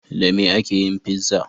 Da me ake yin fizza?